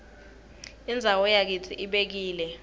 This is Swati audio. indzawo yakitsi ibekile